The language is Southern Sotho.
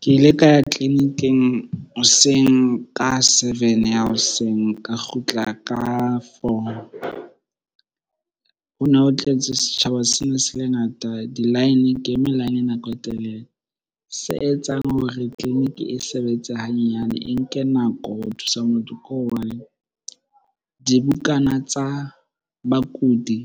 Ke ile ka ya tleliniking hoseng ka seven ya hoseng, ka kgutla ka four. Ho ne ho tletse, setjhaba se ne se le ngata. Di-line ke eme line nako e telele. Se etsang hore tleliniki e sebetse hanyenyane, e nke nako ho thusa motho ke hobane dibukana tsa bakudi